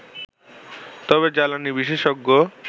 তবে জ্বালানি বিশেষজ্ঞ